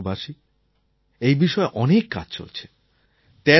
আমার প্রিয় দেশবাসী এই বিষয়ে অনেক কাজ চলছে